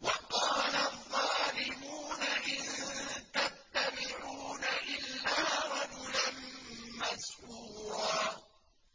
وَقَالَ الظَّالِمُونَ إِن تَتَّبِعُونَ إِلَّا رَجُلًا مَّسْحُورًا